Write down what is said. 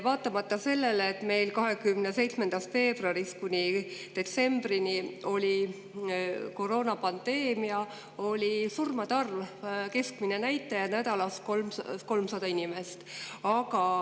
Vaatamata sellele, et 27. veebruarist kuni detsembrini oli meil koroonapandeemia, oli surmade keskmine näitaja nädalas 300.